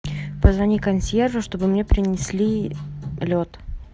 позвони консьержу чтобы мне принесли лед